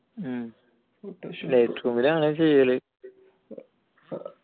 light room ൽ ആണ് ചെയ്യല്